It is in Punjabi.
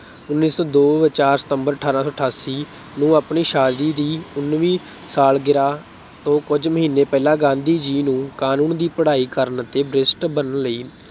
ਉੱਨੀ ਸੌ ਦੋ, ਚਾਰ September ਅਠਾਰਾਂ ਸੌ ਅਠਾਸੀ ਨੂੰ ਆਪਣੀ ਸ਼ਾਦੀ ਦੀ ਉੱਨਵੀਂ ਸਾਲਗਿਰਾ ਤੋਂ ਕੁੱਝ ਮਹੀਨੇ ਪਹਿਲਾਂ ਗਾਂਧੀ ਜੀ ਨੂੰ ਕਾਨੂੰਨ ਦੀ ਪੜ੍ਹਾਈ ਕਰਨ ਲਈ ਅਤੇ barrister ਬਣਨ ਲਈ